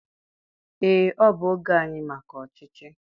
ee, ọ bụ oge anyị maka ọchịchị